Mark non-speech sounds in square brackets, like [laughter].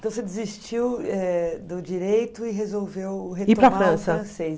Então você desistiu eh do direito e resolveu [unintelligible]